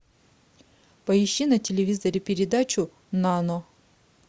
поищи на телевизоре передачу нано